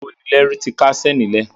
Rárá, ìkónilẹ́rú ti káṣẹ̀ ní lẹ̀.